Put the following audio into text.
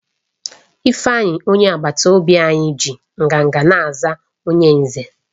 Ifeanyi, onye agbata obi anyi ji nganga na-aza onye Nze